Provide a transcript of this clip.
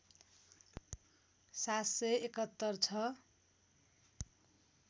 ७७१ छ